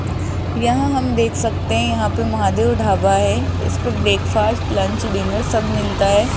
यहां हम देख सकते हैं यहां पे महादेव ढाबा है इसपे ब्रेकफास्ट लंच डिनर सब मिलता है।